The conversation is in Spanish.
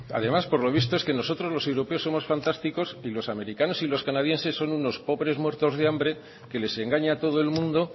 además por lo visto nosotros los europeos somos fantásticos y los americanos y canadienses son unos pobres muertos de hambre que les engaña todo el mundo